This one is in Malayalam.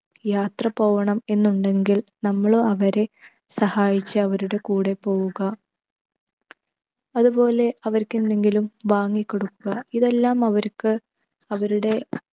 യാത്ര പോവണം എന്നുണ്ടെങ്കിൽ നമ്മളും അവരെ സഹായിച്ച് അവരുടെ കൂടെ പോവുക അതുപോലെ അവർക്ക് എന്തെങ്കിലും വാങ്ങി കൊടുക്കുക. ഇതെല്ലാം അവർക്ക് അവരുടെ